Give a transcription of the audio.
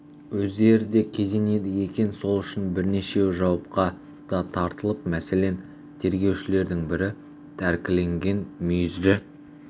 өздері де кезенеді екен сол үшін бірнешеуі жауапқа да тартылыпты мәселен тергеушілердің бірі тәркіленген мүйізді